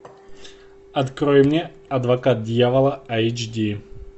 открой мне адвокат дьявола эйч ди